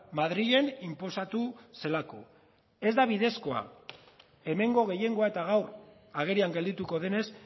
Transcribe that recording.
madrilen inposatu zelako ez da bidezkoa hemengo gehiengoa eta gaur agerian geldituko denez